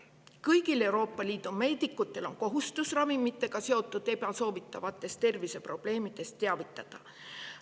Kõigil Euroopa Liidu meedikutel on kohustus ravimitega seotud ebasoovitavatest terviseprobleemidest teavitada.